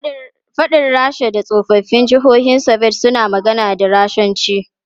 Faɗin Rasha da tsoffin jihohin Soviet suna magana da Rashanci.